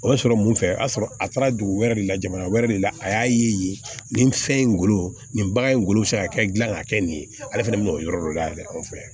O y'a sɔrɔ mun fɛ a y'a sɔrɔ a taara dugu wɛrɛ de la jamana wɛrɛ de la a y'a ye nin fɛn in wolo nin bagan in ngolo bɛ se ka kɛ dilan ka kɛ nin ye ale fana bɛ o yɔrɔ de la dɛ an fɛ yan